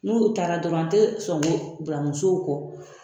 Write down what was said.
N'olu taara dɔrɔn an tɛ sɔn ko bila musow kɔ